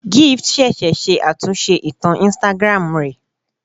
Gift ṣẹ̀ṣẹ̀ ṣe àtúnṣe ìtàn Instagram rẹ̀